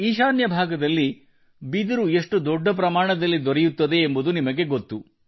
ಈಶಾನ್ಯ ಭಾಗದಲ್ಲಿ ಬಿದಿರು ಎಷ್ಟು ದೊಡ್ಡ ಪ್ರಮಾಣದಲ್ಲಿ ದೊರೆಯುತ್ತದೆ ಎಂಬುದು ನಿಮಗೆನಿಮಗೆ ಗೊತ್ತು